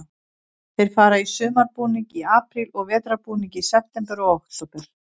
Þeir fara í sumarbúning í apríl og vetrarbúning í september og október.